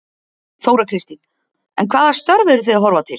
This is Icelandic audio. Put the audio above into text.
Þóra Kristín: En hvaða störf eru þið að horfa til?